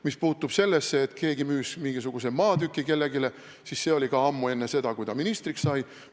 Mis puutub sellesse, et keegi müüs kellelegi mingisuguse maatüki, siis see oli ammu enne seda, kui ta ministriks sai.